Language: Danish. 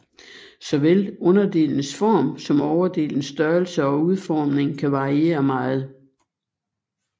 Såvel underdelens form som overdelens størrelse og udformning kan variere meget